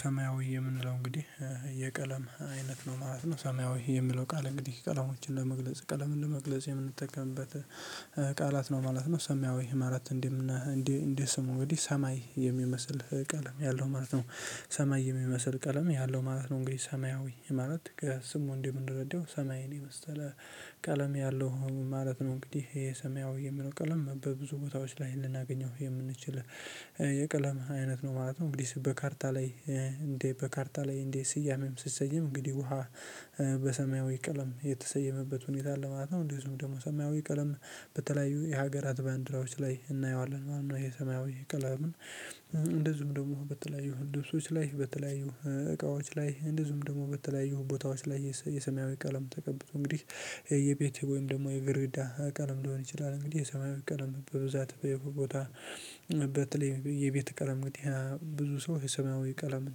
ሰማያዊ የምንለው እንግዲህ የቀለም አይነት ነው ማለት ነው። ሰማያዊ የሚለው ቃል እንግዲህ ቀለሞችን ለመግለጽ ቀለምን ለመግለጽ የምንጠቀምበት ቃላት ነው ማለት ነው። ሰሚያዊ ሰማያዊ ማለት እንዲህ እንዲህ ስሙ እንግዲህ ሰማይ የሚመስል ቀለም ያለው ማለት ነው። ሰማይ የሚመስል ቀለም ያለው ማለት ነው። እንግዲህ ሰማያዊ ማለት ከስሙ እንደምንረዳው ሰማይን የመሰለ ቀለም ያለው ማለት ነው። እንግዲህ ይሄ ሰማያዊ የሚለው ቀለም በብዙ ቦታዎች ላይ ልናገኘው የምንችል የቀለም አይነት ነው ማለት ነው። እንግዲህ በካርታ ላይ እንዴ በካርታ ላይ እንዴ ስያሜም ስትሰይም እንግዲህ ውሃ በሰማያዊ ቀለም የተሰየመበት ሁኔታ አለ ማለት ነው። እንዴ እሱም ደግሞ ሰማያዊ ቀለም በተለያዩ የሀገራት ባንዲራዎች ላይ እናየዋለን ነው። ይሄ ሰማያዊ ቀለምን እንደዚሁም ደግሞ በተለያዩ ልብሶች ላይ በተለያዩ እቃዎች ላይ እንደዚሁም ደግሞ በተለያዩ ቦታዎች ላይ የሰሚያዊ ቀለም ተቀብቶ እንግዲህ የቤቴ ወይም ደግሞ የበረንዳ ቀለም ሊሆን ይችላል። እንግዲህ የሰማይ ቀለም በብዛት በቦታ በተለይ የቤት ቀለም ግን ብዙ ሰው ሰማያዊ ቀለምን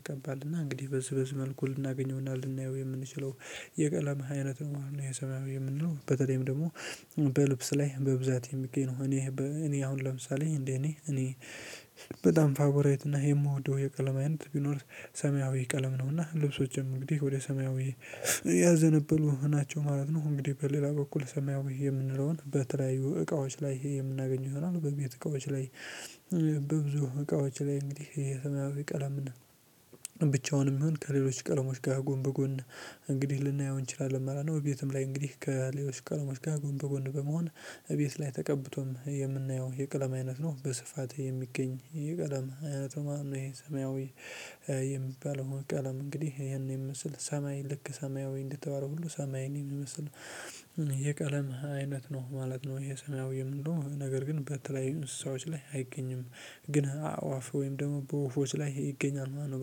ይቀባል እና እንግዲህ በዚህ መልኩ ልናገኘውና ልናየው የምንችለው የቀለም አይነት ነው። ሰማያዊ የምንለው በተለይም ደግሞ በልብስ ላይ በብዛት የሚገኝ ነው። እኔ እኔ አሁን ለምሳሌ እንደ እኔ እኔ በጣም ፋቦራይት እና የምወደው የቀለም አይነት ቢኖር ሰማያዊ ቀለም ነውና ልብሶችም እንግዲህ ወደ ሰማያዊ ያዘነበሉ ናቸው ማለት ነው። እንግዲህ በሌላ በኩል ሰማያዊ የምንለውን በተለያዩ እቃዎች ላይ ይሄ የምናገኘው ይሆናል። በቤት እቃዎች ላይ በብዙ እቃዎች ላይ እንግዲህ የተለያየ ቀለም ብቻውንም ይሁን ከሌሎች ቀለሞች ጋር ጎን በጎን እንግዲህ ልናየው እንችላለን። መስኖ ቤትም ላይ እንግዲህ ከሌሎች ቀሎሞች ጋር ጎን በጎን በመሆን እቤት ላይ ተቀብቶም የምናየው የቀለም አይነት ነው። በስፋት የሚገኝ የቀለም አይነቱ ማነው? ይሄ ሰማያዊ የሚባለው ቀለም እንግዲህ ይሄን የሚመስል ሰማይ ልክ ሰማያዊ እንደተባለው ሁሉ ሰማይን የሚመስል የቀለም አይነት ነው ማለት ነው። ይሄ ሰማይ እንደው ነገር ግን በተለይ እንስሳዎች ላይ አይገኝም። ግን አእዋፍ ወይም ደግሞ በወፎች ላይ ይገኛል ማለት ነው።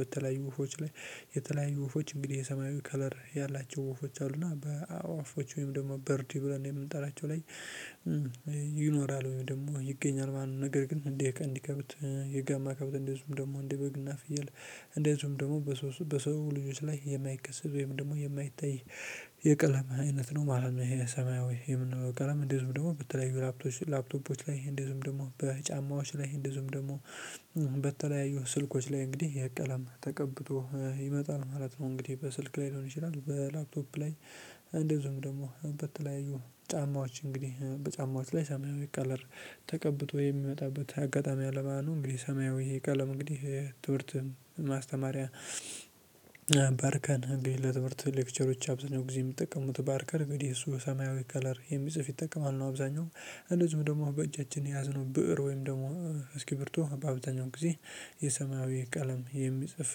በተለያዩ ወፎች ላይ የተለያዩ ወፎች እንግዲህ የሰማያዊ ከለር ያላቸው ወፎች አሉና በአእዋፎች ወይም ደግሞ በርድ ብለን የምንጠራቸው ላይ ይኖራል ወይም ደግሞ ይገኛል። ማንም ነገር ግን እንዲህ እንዲህ ከብት የጋማ ከብት እንዲህ እሱም ደግሞ እንዲህ በግና ፍየል እንደዚሁም ደግሞ በሰው በሰው ልጆች ላይ የማይቀስብ ወይም ደግሞ የማይታይ የቀለማ አይነት ነው ማለት ነው። የሰማይ ወይም የምንኖረው ቀለም እንደዚህ ዝም ደግሞ በተለይ ላፕቶፖች ላፕቶፖች ላይ ይሄ እንደዚህ ዝም ደግሞ በጫማዎች ላይ እንደዚሁም ደግሞ በተለያዩ ስልኮች ላይ እንግዲህ የቀለም ተቀብቶ ይመጣል ማለት ነው። እንግዲህ በስልክ ላይ ሊሆን ይችላል። በላፕቶፕ ላይ እንደዚሁም ደግሞ በተለያዩ ጫማዎች እንግዲህ በጫማዎች ላይ ሰማያዊ ቀለር ተቀብቶ የሚመጣበት አጋጣሚ አለ ማለት ነው። እንግዲህ ሰማያዊ ቀለም እንግዲህ ትምህርት ማስተማሪያ ፓርከር ግን ለትምህርት ሌክቸሮች አብዝነው ጊዜ የሚጠቀሙት ፓርከር እንግዲህ እሱ ሰማያዊ ከለር የሚጽፍ ይጠቀማሉ አብዛኛው እንደዚሁም ደግሞ በእጃችን የያዝነው ብእር ወይም ደግሞ እስኪ እስክብሪቶ በአብዛኛው ጊዜ የሰማያዊ ቀለም የሚጽፍ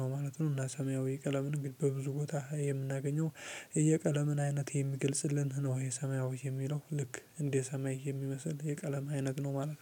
ነው ማለት ነው። እና ሰማያዊ ቀለምን እንግዲህ በብዙ ቦታ የምናገኘው የቀለምን አይነት የሚገልጽልን ነው። የሰማያዊ የሚለው ልክ እንደ ሰማይ የሚመስል የቀለም አይነት ነው ነው።